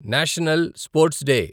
national sports day